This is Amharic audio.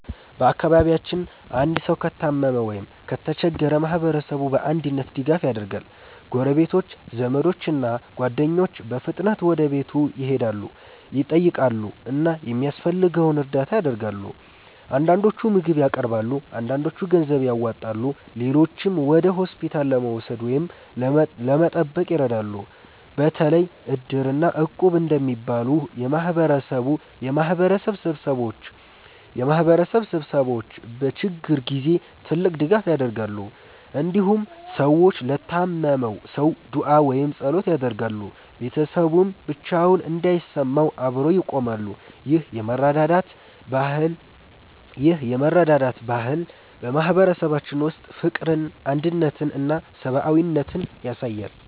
በአካባቢያችን አንድ ሰው ከታመመ ወይም ከተቸገረ ማህበረሰቡ በአንድነት ድጋፍ ያደርጋል። ጎረቤቶች፣ ዘመዶች እና ጓደኞች በፍጥነት ወደ ቤቱ ይሄዳሉ፣ ይጠይቃሉ እና የሚያስፈልገውን እርዳታ ያደርጋሉ። አንዳንዶች ምግብ ያቀርባሉ፣ አንዳንዶች ገንዘብ ያዋጣሉ፣ ሌሎችም ወደ ሆስፒታል ለመውሰድ ወይም ለመጠበቅ ይረዳሉ። በተለይ Iddir እና Equb እንደሚባሉ የማህበረሰብ ስብስቦች በችግር ጊዜ ትልቅ ድጋፍ ያደርጋሉ። እንዲሁም ሰዎች ለታመመው ሰው ዱዓ ወይም ጸሎት ያደርጋሉ፣ ቤተሰቡም ብቻውን እንዳይሰማው አብረው ይቆማሉ። ይህ የመረዳዳት ባህል በማህበረሰባችን ውስጥ ፍቅርን፣ አንድነትን እና ሰብአዊነትን ያሳያል።